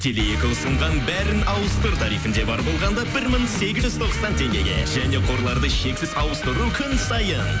теле екі ұсынған бәрін ауыстыр тарифінде бар болғанда бір мың сегіз жүз тоқсан теңгеге және қорларды шексіз ауыстыру күн сайын